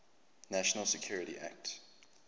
national security act